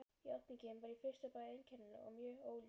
Játningin var í fyrstu bæði einkennileg og mjög óljós.